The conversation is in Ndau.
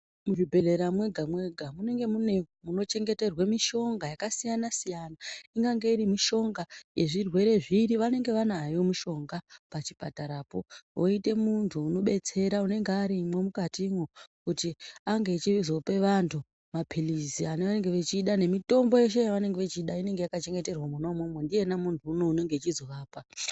Muzvibhedhlera mwega-mwega munenge mune munochengeterwa mishonga yakasiyana-siyana. Ingange iri mishonga yezvirwere zviri vanenge vanayo mishonga pachipatarapo voite muntu unobetsera unenge arimwo mukatimwu. Kuti ange achizope antu maphirizi anonge echida nemitombo yeshe yavangenge vachida inenge yakachengeterwa mwona imwomwo ndiyena muntu unouyu unenge achizovapa.